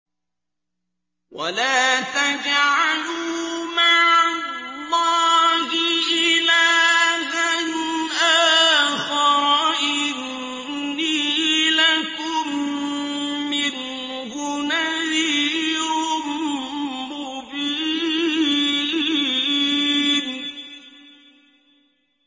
وَلَا تَجْعَلُوا مَعَ اللَّهِ إِلَٰهًا آخَرَ ۖ إِنِّي لَكُم مِّنْهُ نَذِيرٌ مُّبِينٌ